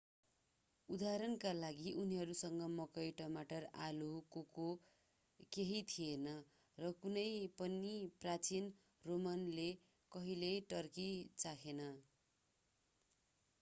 उदाहरणका लागि उनीहरूसँग मकै टमाटर आलु कोको केही थिएन र कुनै पनि प्राचीन रोमनले कहिल्यै टर्की चाखेन